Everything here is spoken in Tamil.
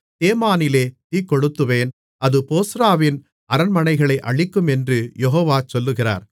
தேமானிலே தீக்கொளுத்துவேன் அது போஸ்றாவின் அரண்மனைகளை அழிக்கும் என்று யெகோவா சொல்லுகிறார்